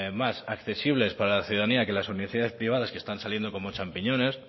más accesibles para la ciudadanía que las universidades privadas que están saliendo como champiñones